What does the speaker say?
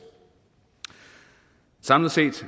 samlet set